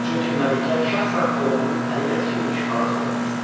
Çünki Məlikə şəxsən oğlunun əli ilə tikilmiş xalat görmək istəyir.